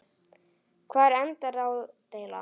Hvar endar ádeila?